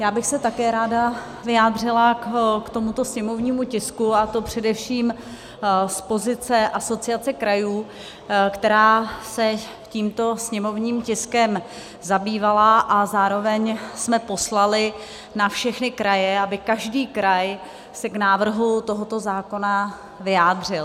Já bych se také ráda vyjádřila k tomuto sněmovnímu tisku, a to především z pozice Asociace krajů, která se tímto sněmovním tiskem zabývala, a zároveň jsme poslali na všechny kraje, aby každý kraj se k návrhu tohoto zákona vyjádřil.